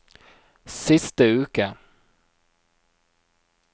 siste uke